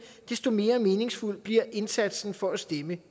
desto mere meningsfuld bliver indsatsen for at stemme